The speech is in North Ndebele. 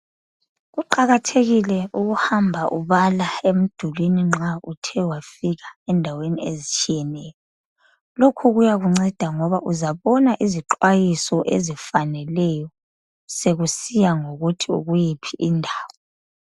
Kuqakathekile ukuhamba ubala emdulini nxa uthe wafika endaweni ezitshiyeneyo. Lokhu kuyakunceda ngoba uzabona izixwayiso ezifaneleyo sekusiya ngokuthi ukuyiphi indawo.